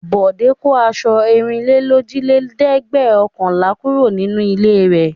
Bọ̀dé kó aṣọ ẹ̀rìnlélójìlẹ́ẹ̀dẹ́gbẹ̀ọ̀kànlá kúrò nínú ilé rẹ̀.